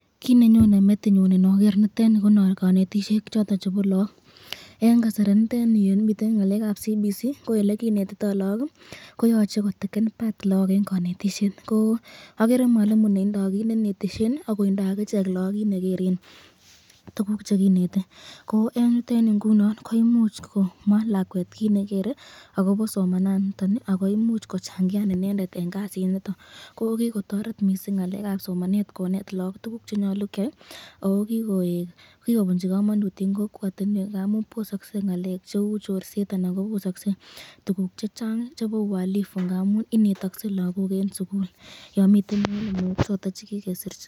Kit nenyone metinyun inoger nitoni, ko kanetisyetab lagok eng kasari yamiten ngalekab CBC ko elekinetito lagok ii koyache koek part nebo kanetisyet ,agere mwalimu neindo kartasit neneten lagok akotindo lagok kitabusyek cheisuben, yoche komwa lakwet koraa kiit negere akobo kanetisyet neteseta ,ako imuch kochangian inendet eng kasit nondon, akonai mising akonetak, koyae kobosak ualifu eng kokwet akobitu kalyet.